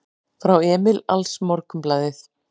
Frá Emil AlsMorgunblaðið